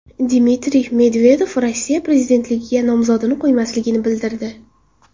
Dmitriy Medvedev Rossiya prezidentligiga nomzodini qo‘ymasligini bildirdi.